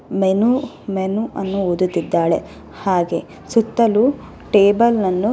menu menu ಅನ್ನು ಓದುತ್ತಿದ್ದಾಳೆ ಹಾಗೆಯೆ ಸುತ್ತಲೂ ಟೇಬಲ್ ಅನ್ನು --